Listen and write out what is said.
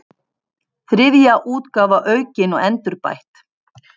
Þriðja útgáfa aukin og endurbætt.